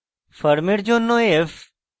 firm এর জন্য f